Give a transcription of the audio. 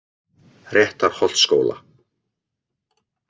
Réttarholtsskóla